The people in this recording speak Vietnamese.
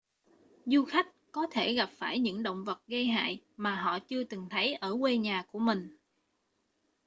du khách có thể gặp phải những động vật gây hại mà họ chưa từng thấy ở quê nhà của mình